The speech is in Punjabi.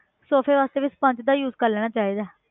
ਸੋਫ਼ੇ ਵਾਸਤੇ ਵੀ sponge ਦਾ use ਕਰ ਲੈਣਾ ਚਾਹੀਦਾ ਹੈ